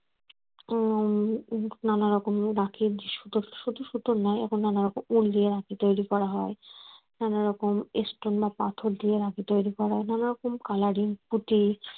উম নানা রকম রাখি সুতোর শুধু সুতোর নয় এখন নানা রকম উল দিয়ে রাখি তৈরি করা হয়। নানা রকম stone বা পাথর দিয়ে রাখি তৈরি করা নানা রকম colouring পুতি